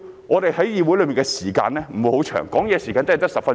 我們在議會的時間不是太多，發言時間只有10分鐘。